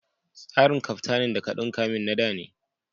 Trarin kaftanin da ka ɗunka min na da ne.